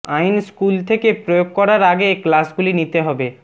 আইন স্কুল থেকে প্রয়োগ করার আগে ক্লাসগুলি নিতে হবে